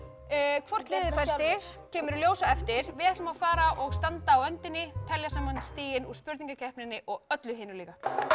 hvort liðið fær stig kemur í ljós á eftir við ætlum að fara og standa á öndinni telja saman stigin úr spurningakeppninni og öllu hinu líka